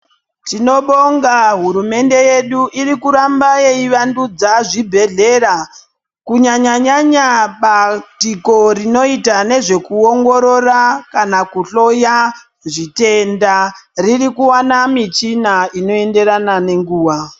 Tinobonga hurumende yedu irikuramba yei vandudza zvibhedhlera kunyanyanyanya batiko rinoita nezvekuongorora kana kuhloya zvitenda riri kuwana michina inoenderana nenguwa.